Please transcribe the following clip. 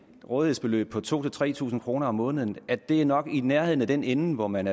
rådighedsbeløb på to tusind tre tusind kroner om måneden er det nok i nærheden af den ende hvor man